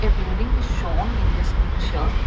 building is shown in this picture.